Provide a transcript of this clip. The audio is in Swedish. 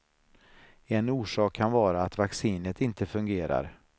En orsak kan vara att vaccinet inte fungerar.